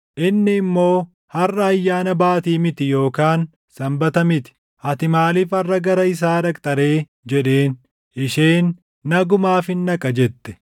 Inni immoo, “Harʼa ayyaana baatii miti yookaan Sanbata miti. Ati maaliif harʼa gara isaa dhaqxa ree?” jedheen. Isheen, “Nagumaafin dhaqa” jette.